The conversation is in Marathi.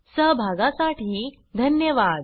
सहभगासाठी धन्यवाद